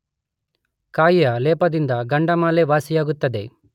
ಕಾಯಿಯ ಲೇಪದಿಂದ ಗಂಡಮಾಲೆ ವಾಸಿಯಾಗುತ್ತದೆ.